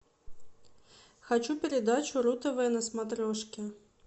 хочу передачу ру тв на смотрешке